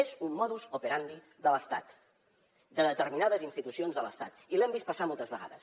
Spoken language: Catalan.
és un modus operandi de l’estat de determinades institucions de l’estat i l’hem vist passar moltes vegades